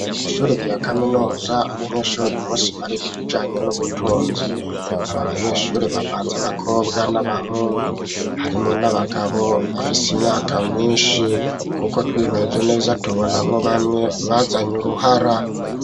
Ishuri rya kaminuza abanyeshuri uyu munsi bariga ibijanye n'ubutunzi abo banyeshuri bavanze abakobwa n'abahungu, harimwo n'abagabo bafise imyaka myinshi kuko twihweje neza tubonamwo bamwe barazanye uruhara.